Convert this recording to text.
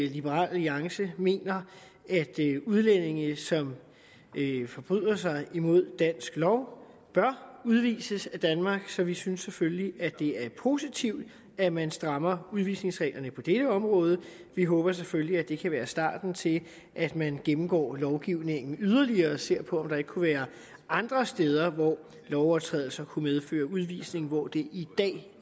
liberal alliance mener at udlændinge som forbryder sig mod dansk lov bør udvises af danmark så vi synes selvfølgelig at det er positivt at man strammer udvisningsreglerne på det område vi håber selvfølgelig at det kan være starten til at man gennemgår lovgivningen yderligere og ser på om der ikke kunne være andre steder hvor lovovertrædelser kunne medføre udvisning hvor de i dag